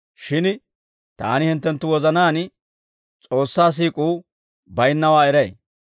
Shin taani hinttenttu wozanaan S'oossaa siik'uu baynnawaa eray.